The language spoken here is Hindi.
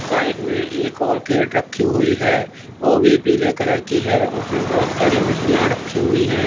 साइड में एक और केरट रखी हुई है वो भी पीले कलर की है उसमें बहोत सारी मछलियां रखी हुई हैं।